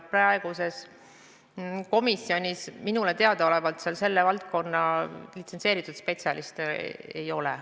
Praeguses komisjonis minule teadaolevalt selle valdkonna litsentseeritud spetsialiste ei ole.